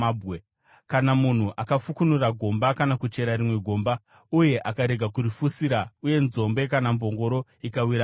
“Kana munhu akafukunura gomba kana kuchera rimwe gomba uye akarega kurifushira uye nzombe kana mbongoro ikawira mariri,